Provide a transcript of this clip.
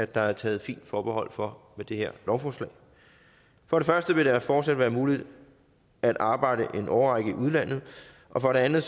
der er taget fint forbehold for med det her lovforslag for det første vil det fortsat være muligt at arbejde i en årrække i udlandet og for det andet